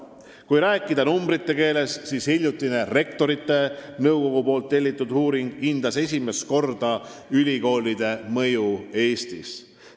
Kui rääkida numbrite keeles, siis hiljutine Rektorite Nõukogu tellitud uuring hindas esimest korda ülikoolide mõju Eestis.